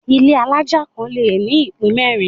Ilé alájà kan le ní ìpín mẹ́rin.